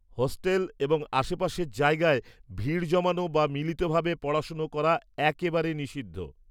Hostel এবং আশেপাশের জায়গায়, ভিড় জমানো বা মিলিতভাবে পড়াশুনো করা একেবারে নিষিদ্ধ।